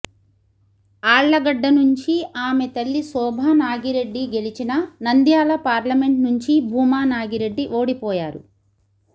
ఆళ్లగడ్డ నుంచి ఆమె తల్లి శోభానాగిరెడ్డి గెలిచినా నంద్యాల పార్లమెంట్ నుంచి భూమా నాగిరెడ్డి ఓడిపోయారు